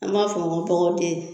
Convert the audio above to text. An b'a f'ɔ ma ŋo tɔgɔ te